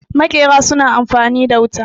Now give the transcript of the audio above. makera suna amfani da wuta